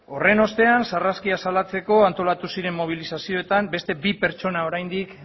horren ostean sarraskia salatzeko antolatu ziren mobilizazioetan beste bi pertsona oraindik